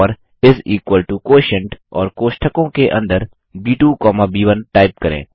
और इस equal to quotient और कोष्टकों के अंदर ब2 कौमा ब1 टाइप करें